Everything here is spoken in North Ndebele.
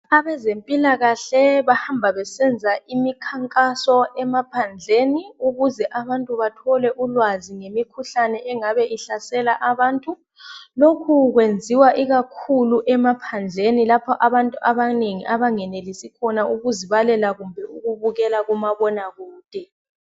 Abezempilakahle bahamba besenza imikhankaso emaphandleni ukuze abantu bathole ulwazi ngemikhuhlane engabe ihlasela abantu. Lokhu kwenziwa ikakhulu emaphandleni lapha abantu abanengi abangenelisi khona ukuzibalela kumbe ukubona kumabona kude